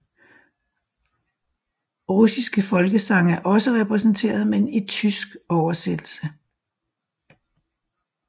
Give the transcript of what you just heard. Russiske folkesange er også repræsenteret men i tysk oversættelse